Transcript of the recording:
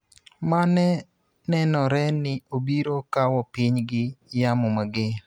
ma ne nenore ni obiro kawo piny gi yamo mager,